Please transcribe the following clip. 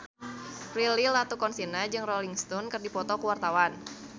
Prilly Latuconsina jeung Rolling Stone keur dipoto ku wartawan